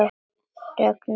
Regn bylur á húsinu.